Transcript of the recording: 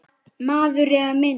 Maður eða mynd